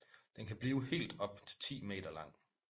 Den kan blive helt op til 10 meter lang